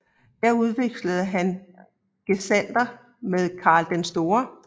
Her udvekslede han gesandter med Karl den Store